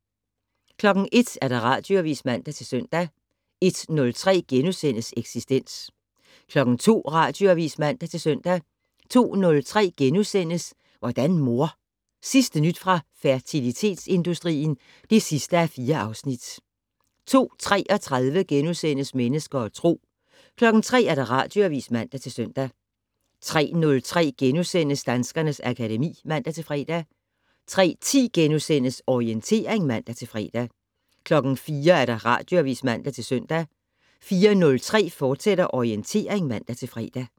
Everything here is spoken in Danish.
01:00: Radioavis (man-søn) 01:03: Eksistens * 02:00: Radioavis (man-søn) 02:03: Hvordan mor? Sidste nyt fra fertilitetsindustrien (4:4)* 02:33: Mennesker og Tro * 03:00: Radioavis (man-søn) 03:03: Danskernes akademi *(man-fre) 03:10: Orientering *(man-fre) 04:00: Radioavis (man-søn) 04:03: Orientering, fortsat (man-fre)